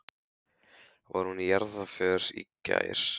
Var hún í jarðarför í gær?